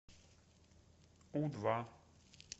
у два